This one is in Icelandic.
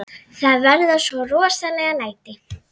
Það verða svo rosaleg læti.